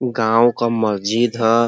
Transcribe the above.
गांव क मस्जिद ह।